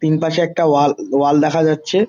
তিন পাশে একটা ওয়াল ওয়াল দেখা যাচ্ছে।